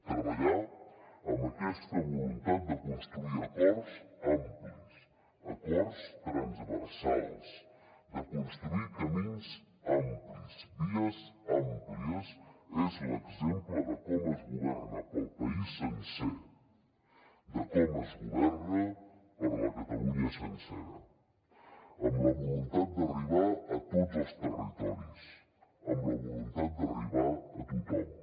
treballar amb aquesta voluntat de construir acords amplis acords transversals de construir camins amplis vies àmplies és l’exemple de com es governa per al país sencer de com es governa per a la catalunya sencera amb la voluntat d’arribar a tots els territoris amb la voluntat d’arribar a tothom